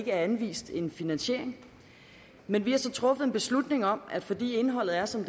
er anvist en finansiering men vi har så truffet en beslutning om at vi fordi indholdet er som